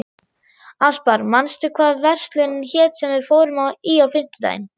Aspar, manstu hvað verslunin hét sem við fórum í á fimmtudaginn?